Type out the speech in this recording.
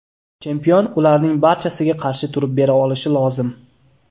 Chempion ularning barchasiga qarshi turib bera olishi lozim.